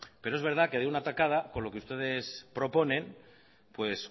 pero es verdad que de una tacada con lo que ustedes proponen pues